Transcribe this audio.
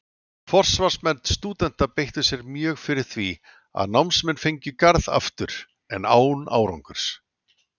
Forsvarsmenn stúdenta beittu sér mjög fyrir því, að námsmenn fengju Garð aftur, en án árangurs.